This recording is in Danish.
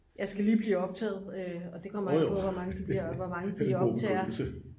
jeg skal lige blive optaget og det kommer an på hvor mange de optager